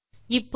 இப்போது